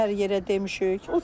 Neçə dəfə hər yerə demişik.